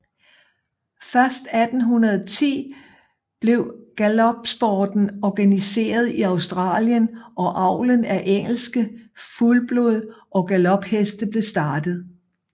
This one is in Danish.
Først 1810 blev galopsporten organiseret i Australien og avlen af engelske fuldblod og galopheste blev startet